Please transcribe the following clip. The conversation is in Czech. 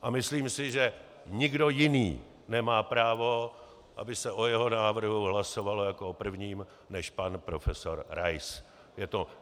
A myslím si, že nikdo jiný nemá právo, aby se o jeho návrhu hlasovalo jako o prvním, než pan profesor Rais.